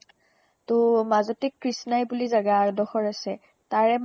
তʼ মাজতে কৃষ্ণাই বুলি জেগা এদোখৰ আছে । তাৰে